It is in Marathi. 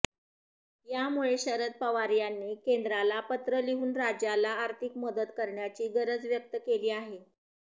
यामुळे शरद पवार यांनी केंद्राल पत्र लिहून राज्याला आर्थिक मदत करण्याची गरज व्यक्त केली आहे